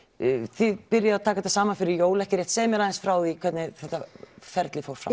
þið byrjið að taka þetta saman fyrir jól ekki satt segðu mér aðeins frá því hvernig þetta ferli fór fram